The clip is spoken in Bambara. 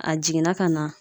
A jiginna ka na